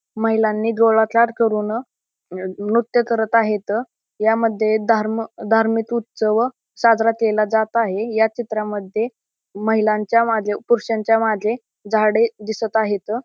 महिलांनी गोलाकार करून अ नृत्य करत आहेत ह्यामध्ये धार्म धार्मिक उत्सव साजरा केला जात आहे या चित्रामध्ये महिलांच्या मागे पुरुषांच्या मागे झाडे दिसत आहेत.